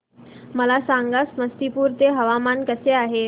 मला सांगा समस्तीपुर चे हवामान कसे आहे